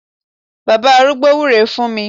Bàbá arúgbó wúre fún mi